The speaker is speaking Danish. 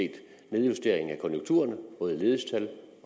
nedjusteringer af konjunkturerne både ledighedstal